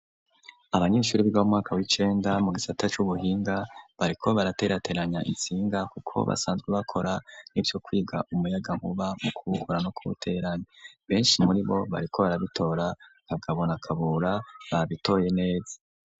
Abanyeshuri biga mu mwaka w'icenda mu gisata c'ubuhinga bariko baraterateranya insinga kuko basanzwe bakora ivyo kwiga umuyagankuba mu kubukura no kubuterane, benshi muri bo bariko barabitora Kagabo na Kabura babitoye neza.